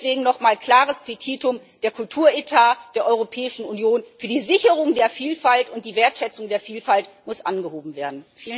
Deswegen nochmal mein klares Petitum Der Kulturetat der Europäischen Union für die Sicherung der Vielfalt und die Wertschätzung der Vielfalt muss angehoben werden!